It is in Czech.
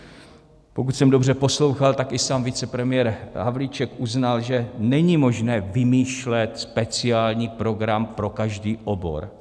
Pokud jsem dobře poslouchal, tak i sám vicepremiér Havlíček uznal, že není možné vymýšlet speciální program pro každý obor.